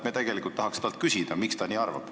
Me tegelikult tahaks talt küsida, miks ta nii arvab.